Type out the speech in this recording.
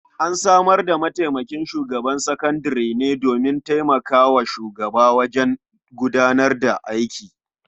An samar da mataimakin shugaban makarantar sakandare ne domin taimaka wa shugaba wajen gudanar da aiki.